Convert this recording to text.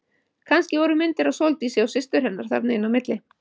Kannski voru myndir af Sóldísi og systur hennar þarna inn á milli.